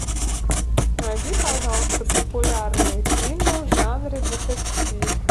найди пожалуйста популярные фильмы в жанре детектив